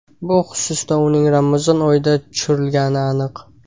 Bu xususda uning Ramazon oyida tushirilgani aniq.